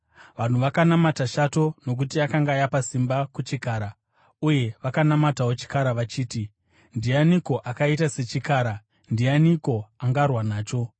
Vanhu vakanamata shato nokuti yakanga yapa simba kuchikara, uye vakanamatawo chikara vachiti, “Ndianiko akaita sechikara? Ndianiko angarwa nacho?”